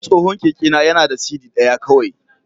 Tsohon kekena yana da siddi ɗaya kawai.